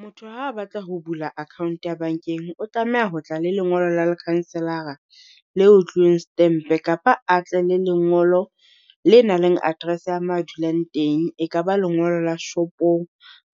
Motho ha batla ho bula account ya bankeng, o tlameha ho tla le lengolo la lekhanselara le otliweng setempe, kapa a tle le lengolo le nang le address ya ma dulang teng. E ka ba lengolo la shopong